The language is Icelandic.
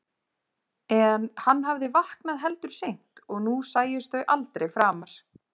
En hann hafði vaknað heldur seint og nú sæjust þau aldrei framar.